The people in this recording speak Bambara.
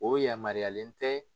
O yamaruyalen tɛ